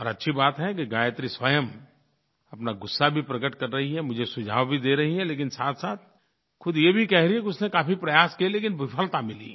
और अच्छी बात है कि गायत्री स्वयं अपना गुस्सा भी प्रकट कर रही है मुझे सुझाव भी दे रही है लेकिन साथसाथ ख़ुद ये भी कह रही है कि उसने काफ़ी प्रयास किए लेकिन विफलता मिली